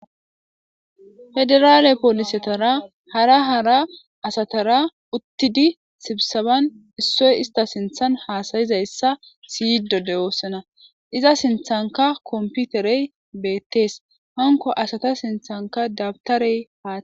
Federale policetara hara hara asatara uttidi sibisebbanni issoyi isitta sinththanni hasayissa siyidee de'ossona .izaa sinththanikka komifitereyi betees.hanikko asata sinththanikka dabitareyi